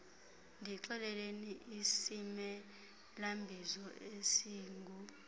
ndixeleleni isimelabizo esingu